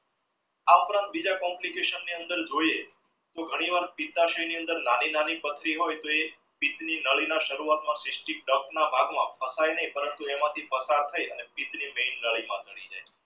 આ ઉપરાંત બીજા complication ની અંદર જોઈએ તો ઘણી ની અંદર વાર નાની-નાની પથરી હોય તો એ નાડીના ભાગમાં પોસાય નહિ પરંતુ પસાર થઈ